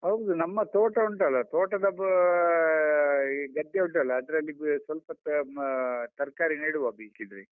ಹೌದು, ನಮ್ಮ ತೋಟ ಉಂಟಲ್ಲ ತೋಟದ ಅಹ್ ಈ ಗದ್ದೆ ಉಂಟಲ್ಲ ಅದ್ರಲ್ಲಿ ಸ್ವಲ್ಪ ಹ್ಮ್ ತರ್ಕಾರಿ ನೆಡುವ ಬೇಕಿದ್ರೆ.